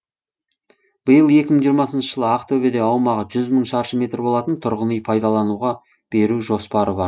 биыл екі мың жиырмасыншы жылы ақтөбеде аумағы жүз мың шаршы метр болатын тұрғын үй пайдалануға беру жоспары бар